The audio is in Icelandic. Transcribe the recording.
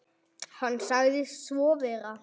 Hann sagði svo vera.